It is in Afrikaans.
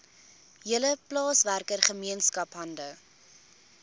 hele plaaswerkergemeenskap hande